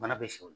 Bana bɛ sɛw la